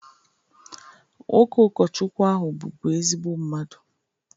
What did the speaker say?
Nwoke ụkọchukwu ahụ bụbu ezigbo mmadụ